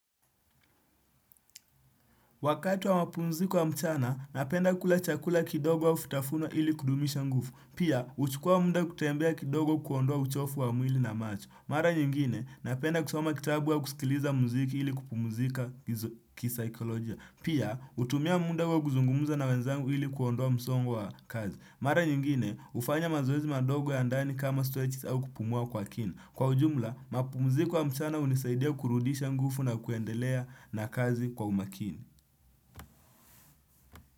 Wakati wamapumziku wa mchana, napenda kula chakula kidogo wa vitafuno ili kudumisha nguvu. Pia, huchukua muda kutembea kidogo kuondoa uchovu wa mwili na macho. Mara nyingine, napenda kusoma kitabu au kusikiliza muziki ili kupumzika kisaikolojia. Pia, hutumia muda huo kuzungumuza na wenzangu ili kuondoa msongo wa kazi. Mara nyingine, hufanya mazoezi madogo ya ndani kama stretches au kupumua kwa kini. Kwa ujumla, mapumziko ya mchana hunisaidia kurudisha nguvu na kuendelea na kazi kwa umakini.